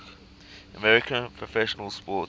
american professional sports